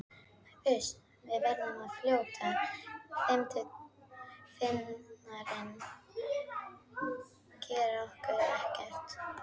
Uss, við verðum svo fljótar, Finnarnir gera okkur ekkert.